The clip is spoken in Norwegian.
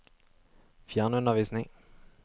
fjernundervisning